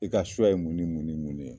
I ka s[cs ye mun ni mun ni mun de ye?